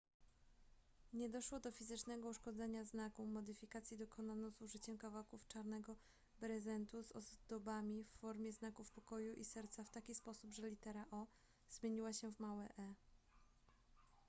nie doszło do fizycznego uszkodzenia znaku modyfikacji dokonano z użyciem kawałków czarnego brezentu z ozdobami w formie znaków pokoju i serca w taki sposób że litera o zmieniła się w małe e